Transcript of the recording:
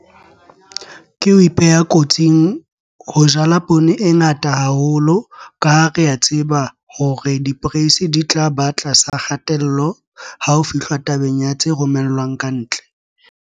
Ke ho ipeha kotsing ho jala poone e ngata haholo ka ha re a tseba hore diporeisi di tla ba tlasa kgatello ha ho fihlwa tabeng ya tse romellwang ka ntle.